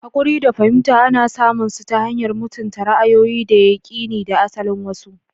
Hakuri da fahimta ana samun su ta hanyar mutunta ra'ayoyi, da yakini, da asalin wasu.